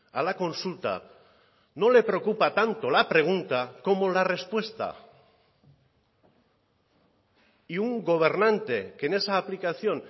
a la consulta no le preocupa tanto la pregunta como la respuesta y un gobernante que en esa aplicación